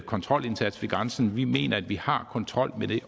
kontrolindsats ved grænsen vi mener at vi har kontrol med det